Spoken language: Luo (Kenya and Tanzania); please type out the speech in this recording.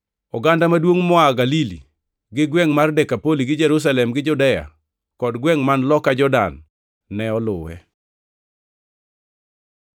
Oganda maduongʼ moa Galili gi gwengʼ mar Dekapoli gi Jerusalem gi Judea kod gwengʼ man loka Jordan ne oluwe.